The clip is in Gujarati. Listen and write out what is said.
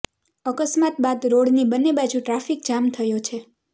અકસ્માત બાદ રોડની બંને બાજુ ટ્રાફિક જામ થયો છે